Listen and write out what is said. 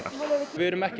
við erum ekki